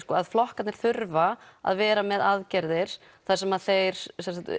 að flokkarnir þurfa að vera með aðgerðir þar sem þeir